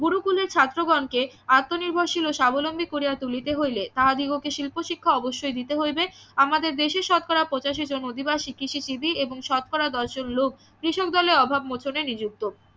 গুরুকুলে ছাত্রগণ কে আত্ম নির্ভরশীল ও স্বাবলম্বী করিয়া তুলিতে হইলে তাহাদিগকে শিল্প শিক্ষা অবশ্যই দিতে হইবে আমাদের দেশের শতকরা পঁচাশি জন অধিবাসী কৃষিজীবি এবং শতকরা দশ জন লোক কৃষক দলের অভাব মোচনে নিযুক্ত